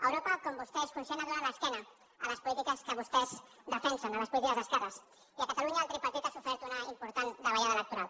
europa com vostè és conscient ha donat l’esquena a les polítiques que vostès defensen a les polítiques d’esquerres i a catalunya el tripartit ha sofert una important davallada electoral